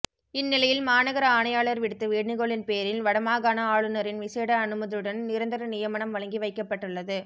இந்நிலையில் மாநகர ஆணையாளர் விடுத்த வேண்டுகோளின் பேரில் வடமாகாண ஆளுநரின் விசேட அனுமதியுடன் நிரந்தர நியமனம் வழங்கி வைக்கப்பட்டுள்ளது